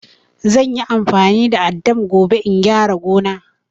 Zan yi amfani da addam gobe in gyara gona.